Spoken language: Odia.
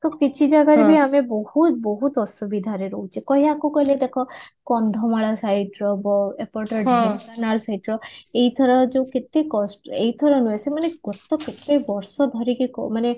ତ କିଛି ଜାଗାରେ ତ ଆମେ ବହୁତ ବହୁତ ଆସୁବିଧାରେ ରହୁଛେ କଣ ୟାକୁ କରିବା ଦେଖ କନ୍ଧମାଳ site ର ଏପଟେ ଢେଙ୍କାନାଳ site ର ଏଇଥର ଯୋଉ କେତେ କଷ୍ଟ ଏଇଥର ନୁହଁ ସେମାନେ କେତେ କେତେ ବର୍ଷ ଧରିକି କ ମାନେ